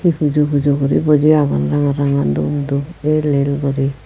hee pujo pujo guri buji agon ranga ranga doob doob el el guri.